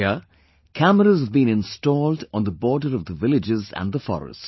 Here cameras have been installed on the border of the villages and the forest